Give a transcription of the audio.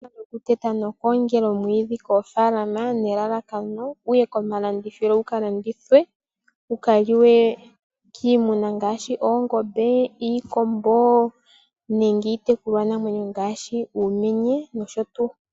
Okuteta nokugongela oomwiidhi koofalama nelalakano wuye komalandithilo gula landithwe, gu ka liwe kiimuna ngaashi oongombe, iikombo nenge iitekulwanamwenyo ngaashi uumenye nosho tuu.